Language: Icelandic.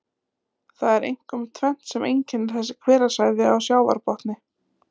Það er einkum tvennt sem einkennir þessi hverasvæði á sjávarbotni.